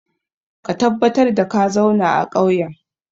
Ka tabbatar da ka zauna a ƙauyen!